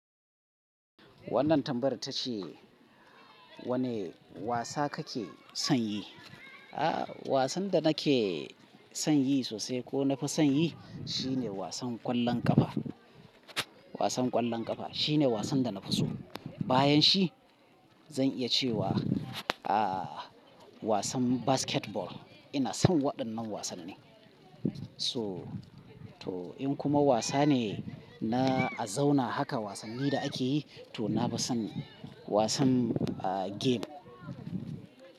Wannan tambayar ta ce, wane wasa kake son yi? Ah wasan da nake son yi sosai ko na fi son yi shine wasan ƙwallon kafa. Wasan ƙwallon ƙafa shine wasan da na fi so. Bayan shi zan iya ce wa ah wasan basketball. Ina son waɗannan wasanni. To to in kuma wasa ne na a zauna haka wasanni da ake yi to na fi son wasan ah game.